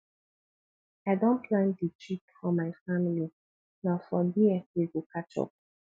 i don plan di trip for my family na for there we go catch up